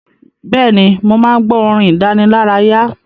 Bẹ́ẹ̀ni, mò máa ń gbọ́ ìròyìn ìdánilárayá.